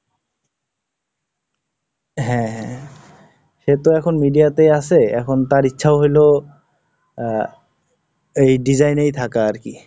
হ্যাঁ, সে তো এখন media তেই আছে, এখন তার ইচ্ছা হইলো আহ, এই Design এই থাকা আর কি।